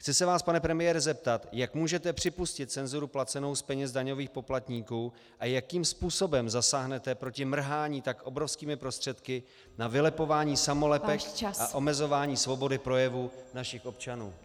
Chci se vás, pane premiére, zeptat, jak můžete připustit cenzuru placenou z peněz daňových poplatníků a jakým způsobem zasáhnete proti mrhání tak obrovskými prostředky na vylepování samolepek a omezování svobody projevu našich občanů.